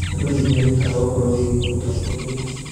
Andũ nĩ merutaga ũhoro wĩgiĩ ũtongoria.